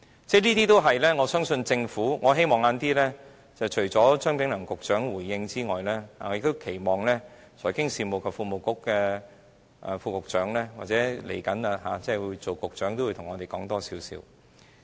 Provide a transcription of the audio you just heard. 這些問題，我相信和希望政府在稍後回應時，除了張炳良局長回應外，也期望財經事務及庫務局副局長或下任局長會向我們多作解釋。